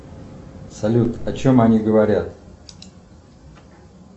салют о чем они говорят